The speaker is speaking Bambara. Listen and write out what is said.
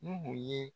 Nuhu ye